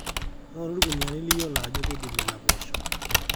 ng'orru irkuniyiani liyiolo ajo eidip nena poosho